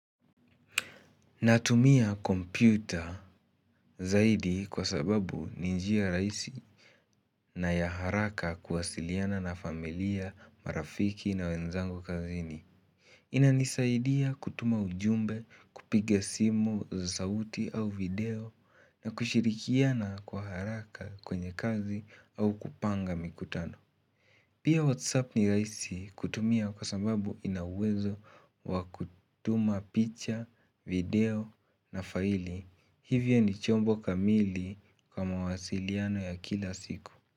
Natumia kompyuta zaidi kwa sababu ni njia rahisi na ya haraka kuwasiliana na familia, marafiki na wenzangu kazini. Inanisaidia kutuma ujumbe, kupiga simu za sauti au video na kushirikiana kwa haraka kwenye kazi au kupanga mikutano. Pia WhatsApp ni rahisi kutumia kwa sababu ina wezo wa kutuma picha, video na faili. Hivyo ni chombo kamili kwa mawasiliano ya kila siku.